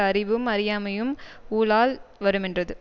அறிவும் அறியாமையும் ஊழால் வருமென்றது